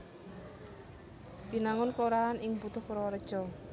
Binangun kelurahan ing Butuh Purwareja